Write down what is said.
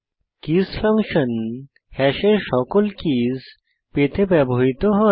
kiss function হ্যাশের সকল keys পেতে ব্যবহৃত হয়